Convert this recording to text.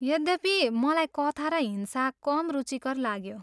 यद्यपि, मलाई कथा र हिंसा कम रुचिकर लाग्यो।